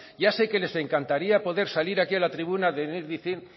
ya sé que les encantaría poder salir aquí a la tribuna a decir